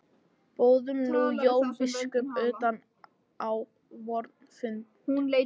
Boðum nú Jón biskup utan á vorn fund.